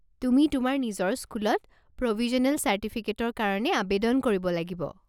তুমি তোমাৰ নিজৰ স্কুলত প্ৰ'ভিজ্যনেল চাৰ্টিফিকেটৰ কাৰণে আৱেদন কৰিব লাগিব।